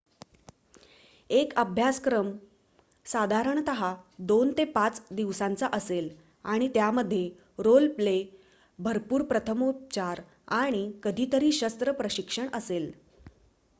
एक अभ्यासक्रम साधारणतः २ ते ५ दिवसांचा असेल आणि त्यामध्ये रोल प्ले भरपूर प्रथमोपचार आणि कधीतरी शस्त्र प्रशिक्षण असेल